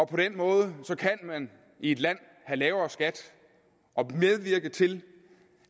på den måde kan man i et land have lavere skat og medvirke til